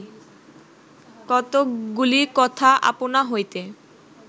কতকগুলি কথা আপনা হইতে